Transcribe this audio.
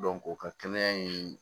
o ka kɛnɛya in